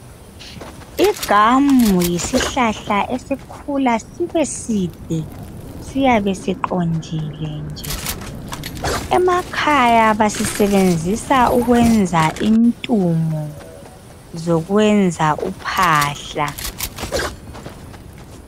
Igamu yisihlahla esikhula sibe side, siyabe siqondile nje. Emakhaya basisebenzisa ukwenza intungo zokwenza uphahla.